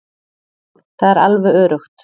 Það er alveg öruggt.